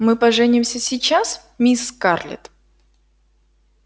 мы поженимся сейчас мисс скарлетт